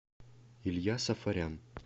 илья сафарян